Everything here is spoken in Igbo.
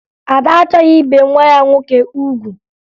Ada achọghị ibe nwa ya nwoke ugwu